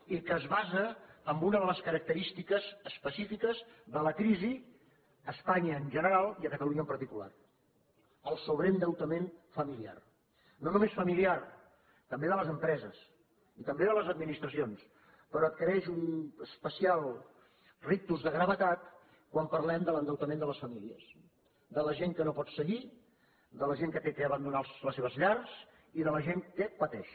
i que es basa en una de les característiques específiques de la crisi a espanya en general i a catalunya en particular el sobreendeutament familiar no només familiar també de les empreses i també de les administracions però adquireix un especial rictus de gravetat quan parlem de l’endeutament de les famílies de la gent que no pot seguir de la gent que ha d’abandonar les seves llars i de la gent que pateix